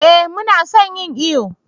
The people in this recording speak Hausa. eh mu na son yin iyo